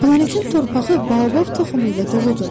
Planetin torpağı Baobab toxumu ilə doludur.